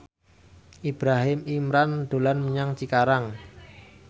Ibrahim Imran dolan menyang Cikarang